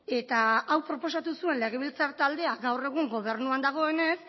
eta hau proposatu zuen legebiltzar taldea gaur egun gobernuan dagoenez